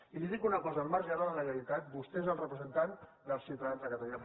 i li dic una cosa al marge de la legalitat vostè és el representant dels ciutadans de catalunya